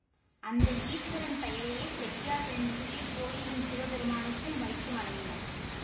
அந்த ஈஸ்வரன் பெயரையே செட்டியார்களின் புதிய கோயிலின் சிவபெருமானுக்கும் வைத்து வணங்கினர்